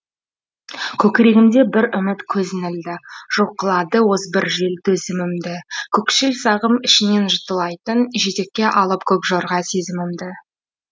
көкірегімде бір үміт көзін ілді жұлқылады озбыр жел төзімімді көкшіл сағым ішіне жұтылайтын жетекке алып көк жорға сезімімді